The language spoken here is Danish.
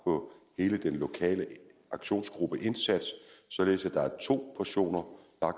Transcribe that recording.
på hele den lokale aktionsgruppeindsats således at der er to portioner